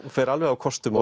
fer alveg á kostum